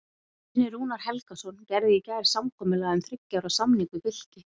Guðni Rúnar Helgason gerði í gær samkomulag um þriggja ára samning við Fylki.